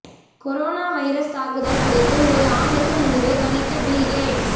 corona virus தாக்குதல் குறித்து ஒரு ஆண்டுக்கு முன்பே கணித்த பில் கேட்ஸ்